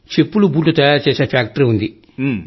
చెప్పులు బూట్లు తయారు చేసే ఫ్యాక్టరీ ఉంది